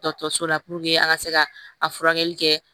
Dɔkɔtɔrɔso la an ka se ka a furakɛli kɛ